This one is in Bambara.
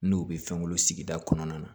N'u bɛ fɛnw sigida kɔnɔna na